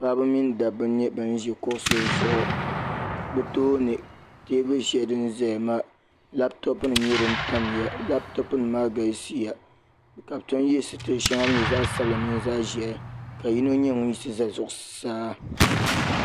Paɣiri mini dabba nyɛla ban ʒi kuɣusi zuɣu bɛ tooni teebuli shɛli din ʒeya maa lapitopunima nyɛla din tamya lapitopunima maa galisiya ka bɛ tom ye sitiri shɛŋa din nyɛ zaɣ'sabila mini zaɣ'ʒɛhi ka yino nyɛ ŋun yiɣisi za zuɣusaa.